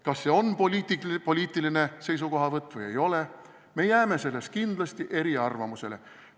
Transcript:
Kas see on poliitiline seisukohavõtt või ei ole – me jääme selles kindlasti eri arvamusele.